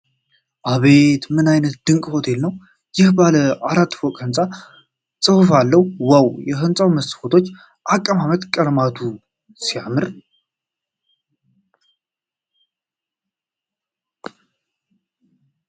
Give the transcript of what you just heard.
"አቤት! ምን አይነት ድንቅ ሆቴል ነው! ይህ ባለ አራት ፎቅ ህንጻ ጽሑፍ አለውን ። ዋው ! የሕንጻውና የመስኮቶቹ አቀማመጥ፣ ቀለማቱ ሲያምሩ!"